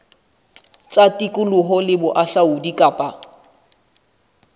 tsa tikoloho le bohahlaudi kapa